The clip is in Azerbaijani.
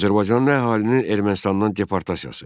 Azərbaycanlı əhalinin Ermənistandan deportasiyası.